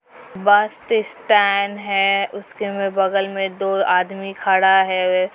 बस टेस स्टैंड है उसके में बगल में दो आदमी खड़ा है।